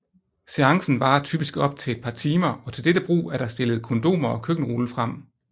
Seancen varer typisk op til et par timer og til dette brug er der stillet kondomer og køkkenrulle frem